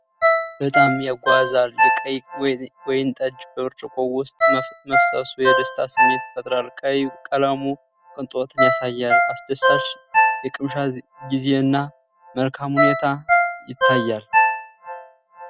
በጣም ያጓጓል! የቀይ ወይን ጠጅ በብርጭቆ ውስጥ መፍሰሱ የደስታ ስሜት ይፈጥራል። ቀይ ቀለሙ ቅንጦትን ያሳያል። አስደሳች የቅምሻ ጊዜ እና መልካም ሁኔታ ይታያል።